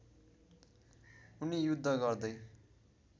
उनी युद्ध गर्दै